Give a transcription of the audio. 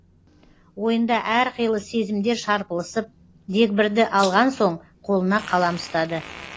ойында әрқилы сезімдер шарпылысып дегбірді алған соң қолына қалам ұстады